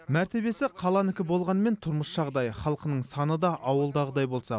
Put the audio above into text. мәртебесі қаланікі болғанымен тұрмыс жағдайы халқының саны да ауылдағыдай болса